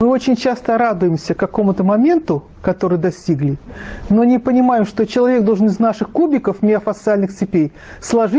очень часто радуемся какому-то моменту которые достигли но не понимаю что человек должен из наших кубиков миофасциальных цепей сложить